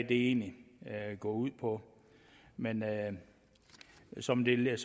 egentlig går ud på men som det